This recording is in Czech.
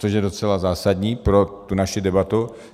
Což je docela zásadní pro tu naši debatu.